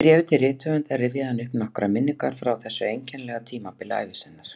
Í bréfi til höfundar rifjaði hann upp nokkrar minningar frá þessu einkennilega tímabili ævi sinnar